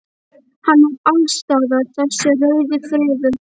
Hann er alls staðar þessi rauði friður.